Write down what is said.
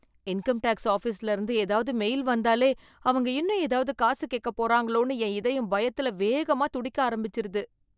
Income tax ஆஃபீஸ்ல இருந்து ஏதாவது மெயில் வந்தாலே, அவங்க இன்னும் ஏதாவது காசு கேக்க போறாங்களோன்னு என் இதயம் பயத்துல வேகமா துடிக்க ஆரம்பிச்சிருது.